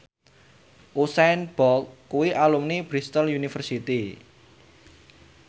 Usain Bolt kuwi alumni Bristol university